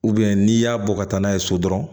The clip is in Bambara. n'i y'a bɔ ka taa n'a ye so dɔrɔn